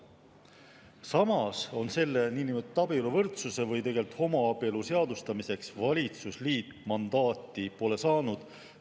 Samas, selle niinimetatud abieluvõrdsuse või tegelikult homoabielu seadustamiseks valitsusliit mandaati pole saanud.